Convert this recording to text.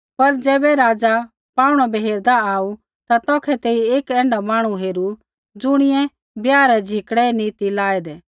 पर ज़ैबै राज़ा पाऊणै बै हेरदा आऊ ता तौखै तेइयै एक ऐण्ढा मांहणु हेरू ज़ुणियै ब्याह रै झिकड़ै नी ती लाऐदै